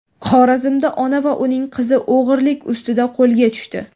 Xorazmda ona va uning qizi o‘g‘rilik ustida qo‘lga tushdi.